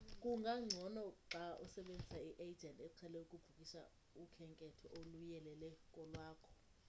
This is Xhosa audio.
kungangcono xa usebenzisa i-agent eqhele ukubhukisha ukhenketho oluyelele kolwakho